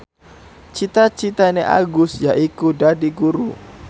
cita citane Agus yaiku dadi guru